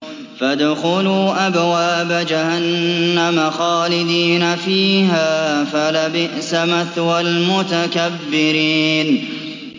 فَادْخُلُوا أَبْوَابَ جَهَنَّمَ خَالِدِينَ فِيهَا ۖ فَلَبِئْسَ مَثْوَى الْمُتَكَبِّرِينَ